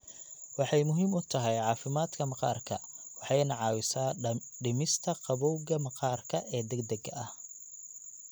Waxay muhiim u tahay caafimaadka maqaarka waxayna caawisaa dhimista gabowga maqaarka ee degdega ah.